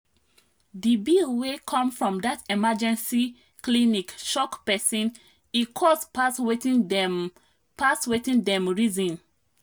the bill wey come from that emergency clinic shock person e cost pass wetin dem pass wetin dem reason.